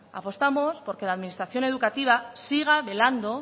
apostamos porque la administración educativa siga velando